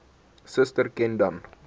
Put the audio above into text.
suster ken dan